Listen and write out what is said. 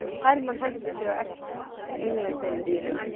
Hermann henti sér á eftir tengdasyni sínum.